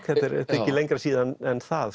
ekki lengra síðan en það